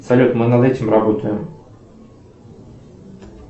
салют мы над этим работаем